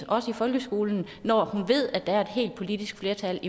også i folkeskolen når hun ved at der er et bredt politisk flertal